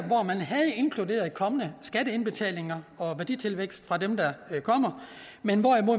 inkluderet kommende skatteindbetalinger og værditilvækst fra dem der kommer men